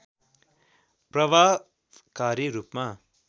प्रभावकारी रूपमा